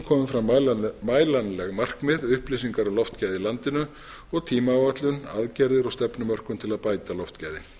komi fram mælanleg markmið upplýsingar um loftgæði í landinu og tímaáætlun aðgerðir og stefnumörkun til að bæta loftgæði